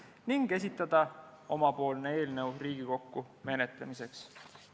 " Valitsus otsustas esitada oma eelnõu Riigikogule menetlemiseks.